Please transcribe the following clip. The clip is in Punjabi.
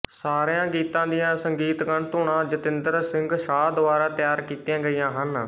ਸਾਰਿਆਂ ਗੀਤਾਂ ਦੀਆਂ ਸੰਗੀਤਕ ਧੁਨਾਂ ਜਤਿੰਦਰ ਸਿੰਘਸ਼ਾਹ ਦੁਆਰਾ ਤਿਆਰ ਕੀਤੀਆਂ ਗਈਆਂ ਹਨ